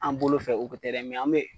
An bolo fɛ o ko tɛ dɛ mɛ an me